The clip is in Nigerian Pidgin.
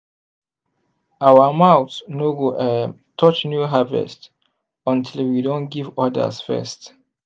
our mouth no go um touch new harvest until we don give others first.